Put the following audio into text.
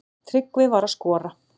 Tryggvi var að skora.